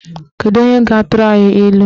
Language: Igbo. Kedu onye ga-atụrụ anyị ilu?